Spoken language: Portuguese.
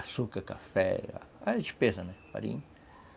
Açúcar, café, era despesa, né, farinha.